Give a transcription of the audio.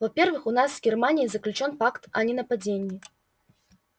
во-первых у нас с германией заключён пакт о ненападении